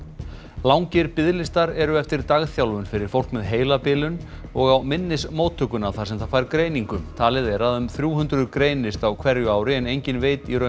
langir biðlistar eru eftir dagþjálfun fyrir fólk með heilabilun og á minnismóttökuna þar sem það fær greiningu talið er að um þrjú hundruð greinist á hverju ári en enginn veit í raun